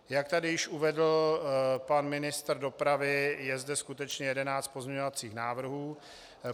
Jak tady již uvedl pan ministr dopravy, je zde skutečně 11 pozměňovacích návrhů.